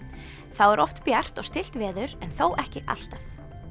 þá er oft bjart og stillt veður en þó ekki alltaf